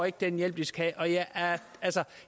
ikke den hjælp de skal have